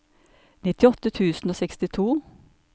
nittiåtte tusen og sekstito